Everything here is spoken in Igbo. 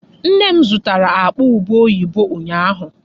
Nne m zụtara akpa ubé oyibo ụnyaahụ.